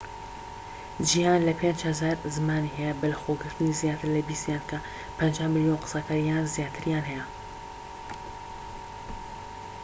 جیھان لە 5,000 زمانی هەیە بەلەخۆگرتنی زیاتر لە بیستیان کە 50 ملیۆن قسەکەر یان زیاتریان هەیە